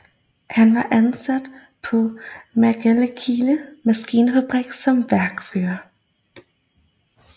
Han var ansat på Maglekilde Maskinfabrik som værkfører